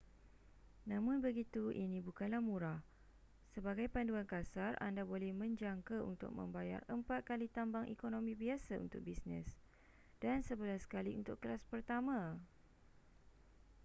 namun begitu ini bukanlah murah sebagai panduan kasar anda boleh menjangka untuk membayar empat kali tambang ekonomi biasa untuk bisnes dan sebelas kali untuk kelas pertama